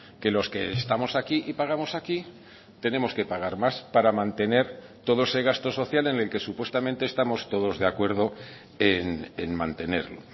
que los que estamos aquí y pagamos aquí tenemos que pagar más para mantener todo ese gasto social en el que supuestamente estamos todos de acuerdo en mantenerlo